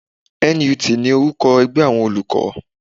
NUT ni orúkọ ẹgbẹ́ àwọn olùkọ́